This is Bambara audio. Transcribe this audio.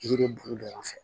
Yiri bulu fɛ